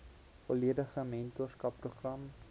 volledige mentorskap program